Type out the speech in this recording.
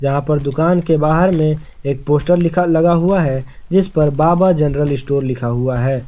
यहां पर दुकान के बाहर में एक पोस्टर लिखा लगा हुआ है जिस पर बाबा जनरल स्टोर लिखा हुआ है।